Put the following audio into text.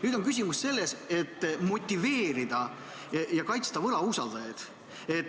Nüüd on küsimus selles, kuidas motiveerida ja kaitsta võlausaldajaid.